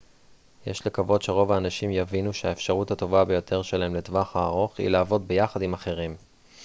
יש לקוות שרוב האנשים יבינו שהאפשרות הטובה ביותר שלהם לטווח הארוך היא לעבוד ביחד עם אחרים